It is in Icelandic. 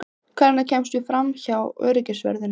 Hvernig kemstu framhjá öryggisvörðunum?